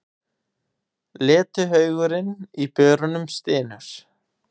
Letihaugurinn í börunum stynur.